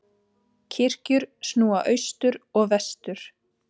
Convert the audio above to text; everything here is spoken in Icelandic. Kirkjur snúa austur og vestur.